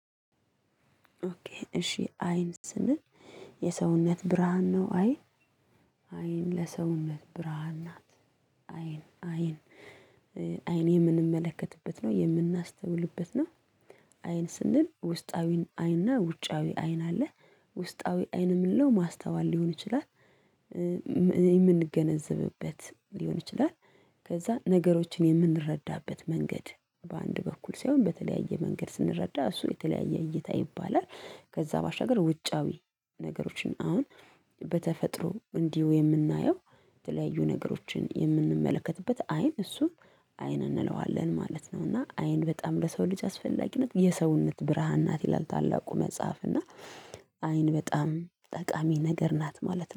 እሺ አይን ስንል የሰውነት ብርሃን ነው። አይን አይን ለሰውነት ብርሃን ናት። አይን አይን አይን የምንመለከትበት ነው የምናስተውልበት ነው። አይን ስንል ውስጣዊ አይን እና ውጫዊ አይን አለ። ውስጣዊ አይን የምንለው ማስተዋል ሊሆን ይችላል። የምንገነዘብበት ሊሆን ይችላል ከዛ ነገሮችን የምንረዳበት መንገድ በአንድ በኩል ሳይሆን በተለያየ መንገድ ስንረዳ እሱ የተለያየ እይታ ይባላል። ከዛ ባሻገር ውጫዊ ነገሮችን አሁን በተፈጥሮ እንዲሁ የምናየው የተለያዩ ነገሮችን የምንመለከትበት አይን እሱን አይን እንለዋለን ማለት ነው። እና አይን በጣም ለሰው ልጅ አስፈላጊነት የሰውነት ብርሃን ናት ይላል። ታላቁ መጽሐፍ እና አይን በጣም ጠቃሚ ነገር ናት ማለት ነው